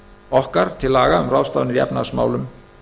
okkar til laga um ráðstafanir í efnahagsmálum